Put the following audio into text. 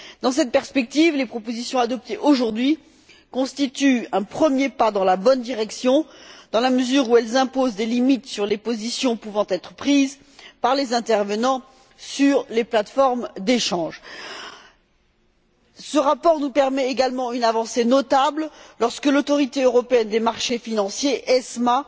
Dans cette perspective, les propositions adoptées aujourd'hui constituent un premier pas dans la bonne direction, dans la mesure où elles imposent des limites sur les positions pouvant être prises par les intervenants sur les plates formes d'échanges. Ce rapport nous permet, également, une avancée notable l'Autorité européenne des marchés financiers, ESMA,